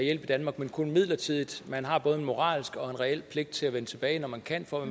hjælp i danmark men kun midlertidigt man har både en moralsk og en reel pligt til at vende tilbage når man kan for at